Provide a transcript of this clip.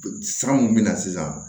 San mun mɛ na sisan